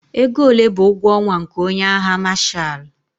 Ego ole bụ ụgwọ ọnwa nke onye agha Mashalụ?